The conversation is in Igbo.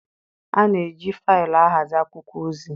A na-eji faịlụ ahazi akwụkwọ ozi.